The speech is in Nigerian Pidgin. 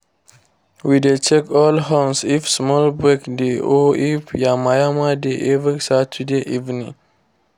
we dey check all horns if small break dey or if yama-yama dey every saturday evening.